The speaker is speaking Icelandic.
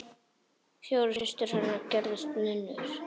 Fjórar systur hennar gerðust nunnur.